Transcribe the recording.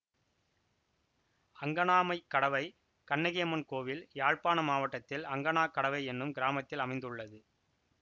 அங்கணாமைக்கடவை கண்ணகியம்மன் கோயில் யாழ்ப்பாண மாவட்டத்தில் அங்கணாக்கடவை என்னும் கிராமத்தில் அமைந்துள்ளது